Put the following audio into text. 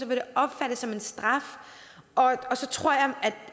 vil opfattes som en straf og så tror jeg